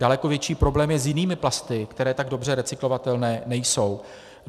Daleko větší problém je s jinými plasty, které tak dobře recyklovatelné nejsou.